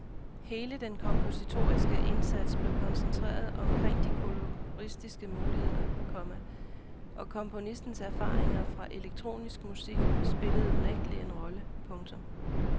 Hele den kompositoriske indsats blev koncentreret omkring de koloristiske muligheder, komma og komponistens erfaringer fra elektronisk musik spillede unægtelig en rolle. punktum